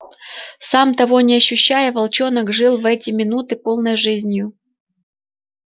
сам того не ощущая волчонок жил в эти минуты полной жизнью